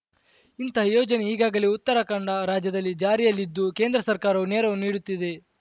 ಇಂತಹ ಯೋಜನೆ ಈಗಾಗಲೇ ಉತ್ತರಾಖಂಡ ರಾಜ್ಯದಲ್ಲಿ ಜಾರಿಯಲ್ಲಿದ್ದು ಕೇಂದ್ರ ಸರ್ಕಾರ ನೆರವು ನೀಡುತ್ತಿದೆ